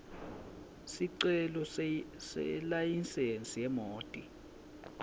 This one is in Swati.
sicelo selayisensi yemoti